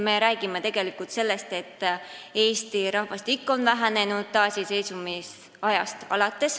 Me räägime tegelikult sellest, et Eesti rahvastik on vähenenud alates taasiseseisvumisest.